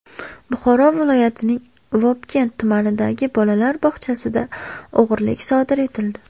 Buxoro viloyatining Vobkent tumanidagi bolalar bog‘chasida o‘g‘rilik sodir etildi.